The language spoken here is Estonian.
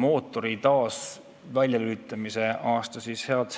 mootori taas väljalülitamise aastat.